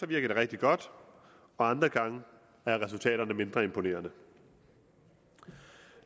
det rigtig godt og andre gange er resultaterne mindre imponerende